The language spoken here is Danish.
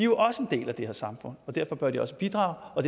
også en del af det her samfund og derfor bør de også bidrage og